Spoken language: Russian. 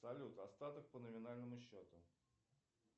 салют остаток по номинальному счету